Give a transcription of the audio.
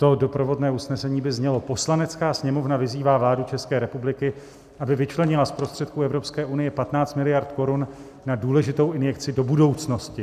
To doprovodné usnesení by znělo: "Poslanecká sněmovna vyzývá vládu České republiky, aby vyčlenila z prostředků Evropské unie 15 miliard korun na důležitou injekci do budoucnosti.